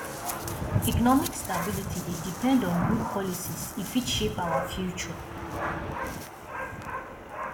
economic stability dey depend on good policies e fit shape our future